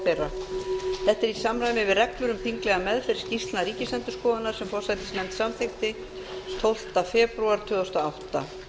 þeirra þetta er í samræmi við þinglega meðferð skýrslna ríkisendurskoðunar sem forsætisnefnd samþykkti tólfta febrúar tvö þúsund og átta